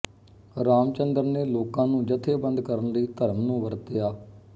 ਰਾਮ ਚੰਦਰ ਨੇ ਲੋਕਾਂ ਨੂੰ ਜਥੇਬੰਦ ਕਰਨ ਲਈ ਧਰਮ ਨੂੰ ਵਰਤਿਆ